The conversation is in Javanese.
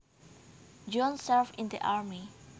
John served in the army